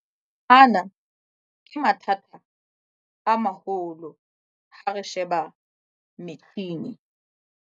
Ana ke mathata a maholo ha re sheba metjhini.